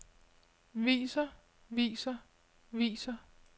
viser viser viser